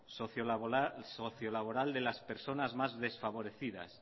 socio laboral de las personas más desfavorecidas